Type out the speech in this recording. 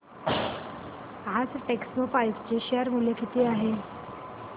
आज टेक्स्मोपाइप्स चे शेअर मूल्य किती आहे